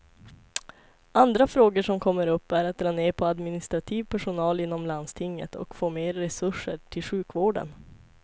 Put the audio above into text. Andra frågor som kommer upp är att dra ner på administrativ personal inom landstinget och få mer resurser till sjukvården.